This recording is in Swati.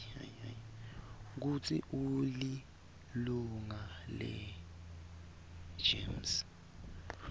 kutsi ulilunga legems